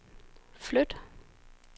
flyt